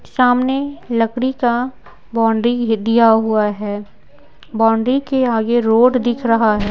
सामने लकड़ी का बाउंड्री दिया हुआ है बाउंड्री के आगे रोड दिख रहा है ।